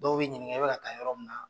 Dɔw b'i ɲininka, e bɛ ka taa yɔrɔ min minna?